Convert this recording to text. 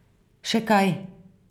Še kaj?